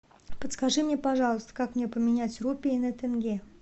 подскажи мне пожалуйста как мне поменять рупии на тенге